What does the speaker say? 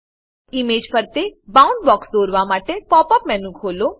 image ફરતે bound box દોરવા માટે પોપ અપ મેનુ ખોલો